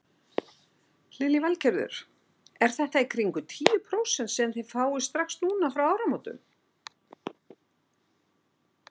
Lillý Valgerður: Er þetta í kringum tíu prósent sem þið fáið strax núna frá áramótum?